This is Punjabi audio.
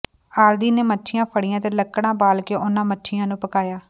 ਆਲਦੀ ਨੇ ਮੱਛੀਆਂ ਫ਼ੜੀਆਂ ਅਤੇ ਲੱਕੜਾਂ ਬਾਲ ਕੇ ਉਨ੍ਹਾਂ ਮੱਛੀਆਂ ਨੂੰ ਪਕਾਇਆ